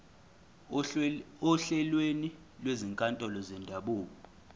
ohlelweni lwezinkantolo zendabuko